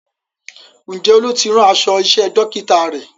Ǹjẹ́ Olú ti rán aṣọ iṣẹ́ Dókítà rẹ̀?